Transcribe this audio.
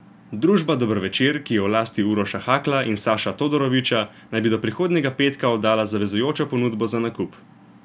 Družba Dober večer, ki je v lasti Uroša Hakla in Saša Todorovića, naj bi do prihodnjega petka oddala zavezujočo ponudbo za nakup.